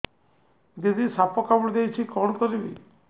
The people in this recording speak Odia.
ଦିଦି ସାପ କାମୁଡି ଦେଇଛି କଣ କରିବି